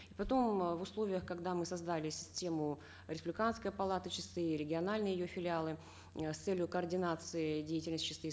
потом э в условиях когда мы создали систему республиканской палаты чси региональные ее филиалы э с целью координации деятельности чси